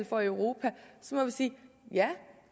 for i europa må vi sige ja